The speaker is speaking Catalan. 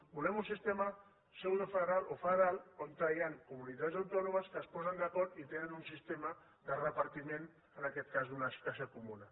volem un sistema pseudofederal o federal on hi han comunitats autònomes que es posen d’acord i tenen un sistema de repartiment en aquest cas d’una caixa comuna